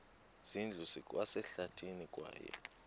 zindlu zikwasehlathini kwaye